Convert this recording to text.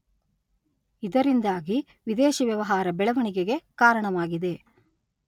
ಇದರಿಂದಾಗಿ ವಿದೇಶಿ ವ್ಯವಹಾರ ಬೆಳವಣಿಗೆಗೆ ಕಾರಣವಾಗಿದೆ.